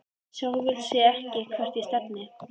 Sjálf vissi ég ekkert hvert ég stefndi.